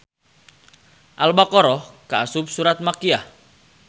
Al baqarah kaasup surat Makiyyah